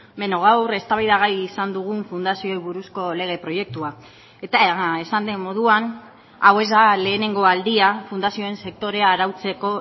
beno gaur eztabaidagai izan dugun fundazioei buruzko lege proiektua eta esan den moduan hau ez da lehenengo aldia fundazioen sektorea arautzeko